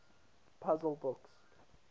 puzzle books